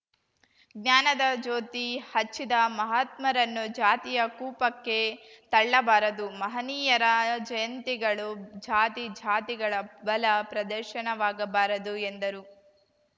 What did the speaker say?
ಜ್ಞಾನದ ಜ್ಯೋತಿ ಹಚ್ಚಿದ ಮಹಾತ್ಮರನ್ನು ಜಾತಿಯ ಕೂಪಕ್ಕೆ ತಳ್ಳಬಾರದು ಮಹನೀಯರ ಜಯಂತಿಗಳು ಜಾತಿ ಜಾತಿಗಳ ಬಲ ಪ್ರದರ್ಶನವಾಗಬಾರದು ಎಂದರು